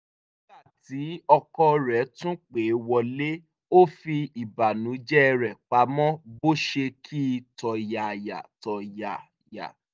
nígbà tí ọkọ rẹ̀ tún pẹ́ wọlé ó fi ìbánújẹ́ rẹ̀ pamọ́ bó ṣe kí i tọ̀yàyàtọ̀yàyà